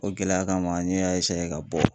O gɛlɛya kama n y'a esaye ka bɔ